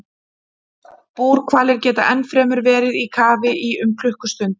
Búrhvalir geta ennfremur verið í kafi í um klukkustund.